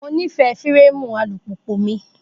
Mo nífẹ̀ẹ́ fírámù alùpùpù mi